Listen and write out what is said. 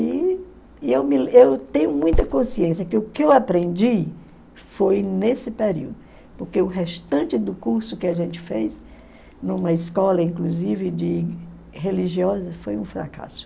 E e eu me lem eu tenho muita consciência que o que eu aprendi foi nesse período, porque o restante do curso que a gente fez, numa escola inclusive de religiosa, foi um fracasso.